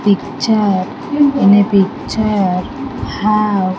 Picture in a picture have --